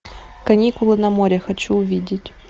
каникулы на море хочу увидеть